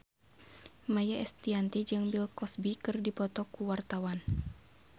Maia Estianty jeung Bill Cosby keur dipoto ku wartawan